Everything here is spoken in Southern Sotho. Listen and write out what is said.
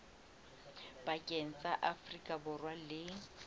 pakeng tsa afrika borwa le